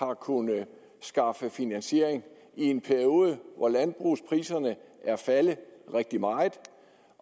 har kunnet skaffe finansiering i en periode hvor landbrugspriserne er faldet rigtig meget